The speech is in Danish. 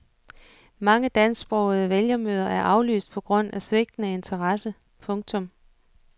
Mange dansksprogede vælgermøder er aflyst på grund af svigtende interesse. punktum